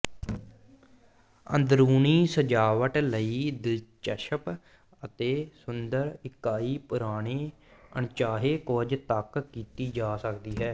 ਅੰਦਰੂਨੀ ਸਜਾਵਟ ਲਈ ਦਿਲਚਸਪ ਅਤੇ ਸੁੰਦਰ ਇਕਾਈ ਪੁਰਾਣੇ ਅਣਚਾਹੇ ਕੁਝ ਤੱਕ ਕੀਤੀ ਜਾ ਸਕਦੀ ਹੈ